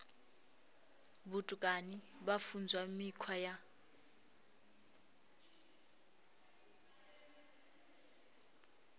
vhutukani vha funzwa mikhwa ya